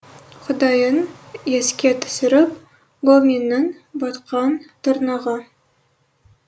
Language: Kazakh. құдайын еске түсіріп гоминнің батқан тырнағы